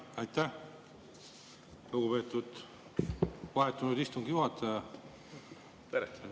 Aitäh, lugupeetud vahetunud istungi juhataja!